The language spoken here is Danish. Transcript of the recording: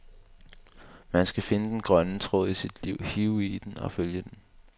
Man skal finde den grønne tråd i sit liv, hive i den og følge den.